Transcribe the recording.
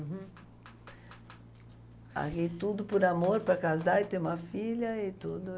Larguei tudo por amor, para casar e ter uma filha e tudo.